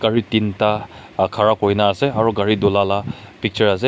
gari tinta khara kuri na ase aru gari dhulala picture ase.